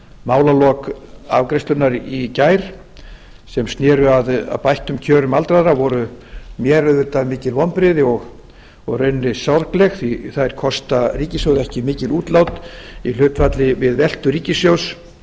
málalok afgreiðslunnar í gær sem sér að bættum kjörum aldraðra voru mér auðvitað mikil vonbrigði og í rauninni sorgleg því að þær kosta ríkissjóð ekki mikil útlát í hlutfalli við veltu ríkissjóðs